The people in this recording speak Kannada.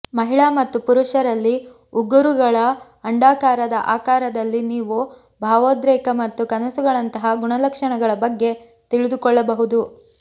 ಮಹಿಳಾ ಮತ್ತು ಪುರುಷರಲ್ಲಿ ಉಗುರುಗಳ ಅಂಡಾಕಾರದ ಆಕಾರದಲ್ಲಿ ನೀವು ಭಾವೋದ್ರೇಕ ಮತ್ತು ಕನಸುಗಳಂತಹ ಗುಣಲಕ್ಷಣಗಳ ಬಗ್ಗೆ ತಿಳಿದುಕೊಳ್ಳಬಹುದು